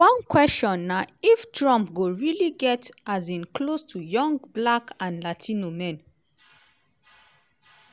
one question na if trump go really get um close to young black and latino men